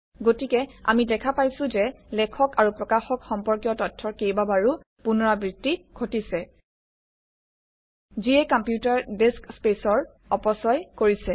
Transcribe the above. গতিকে আমি দেখা পাইছোঁ যে লেখক আৰু প্ৰকাশক সম্পৰ্কীয় তথ্যৰ কেইবাবাৰো পুনৰাবৃত্তি ঘটিছে যিয়ে কম্পিউটাৰ ডিস্ক স্পেচৰ অপচয় কৰিছে